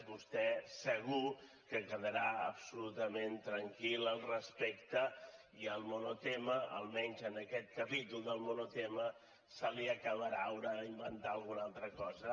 vostè segur que quedarà absolutament tranquil al respecte i el monotema almenys en aquest capítol del monotema se li acabarà haurà d’inventar alguna altra cosa